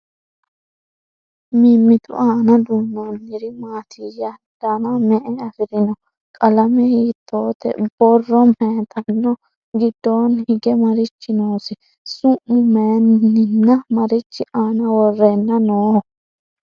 Mimittu aanna duunnoniri maattiya? Danna me'e afirinno? Qalame hiittotte? Borro mayiittanno? Gidoonni hige marichi noosi? Su'ma mayiinnanni? Marichi aanna worrenna nooho?